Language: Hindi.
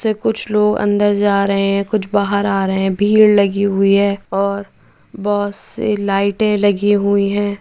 वैसे कुछ लोग अंदर जा रहे है कुछ बाहर आ रहे है भीड़ लगी हुई है और बहुत सी लाइटे लगी हुई है।